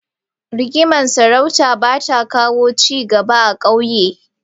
Rigimar sarauta ba ta kawo ci gaba a ƙauye.